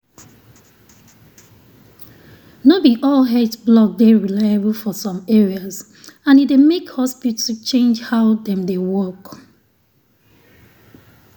no be all health blog dey reliable for some areas and e dey make hospital change how dem dey work.